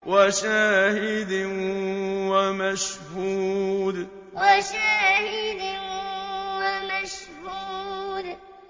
وَشَاهِدٍ وَمَشْهُودٍ وَشَاهِدٍ وَمَشْهُودٍ